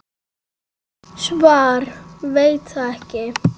Svar: Veit það ekki.